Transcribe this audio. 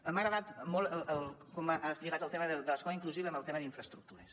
m’ha agradat molt com has lligat el tema de l’escola inclusiva amb el tema d’infraestructures